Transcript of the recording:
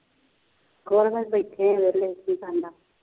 ਕੁੱਛ ਨਹੀਂ ਬੈਠੇ ਹਾਂ ਵਿਹਲੇ ਕੀ ਬਣਦਾ